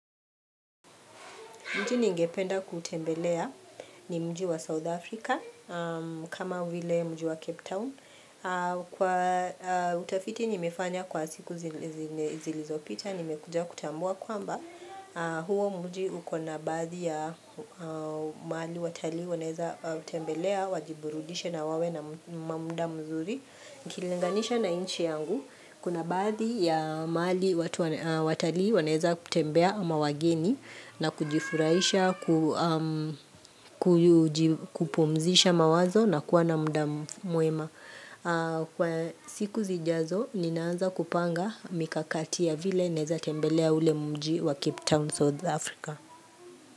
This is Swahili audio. Mji ningependa kutembelea ni mji wa South Africa kama vile mji wa Cape Town. Utafiti nimefanya kwa siku zilizopita nimekujua kutambua kwamba huo mji uko na baadhi ya mahali watalii wanaweza kutembelea, wajiburudishe na wawe na muda mzuri. UKilinganisha na nchi yangu Kuna baadhi ya mahali watali wanaweza kutembea ama wageni na kujifurahisha, kupumzisha mawazo na kuwa na muda mwema Kwa siku zijazo, ninaanza kupanga mikakati ya vile naweza tembelea ule mji wa Cape Town South Africa.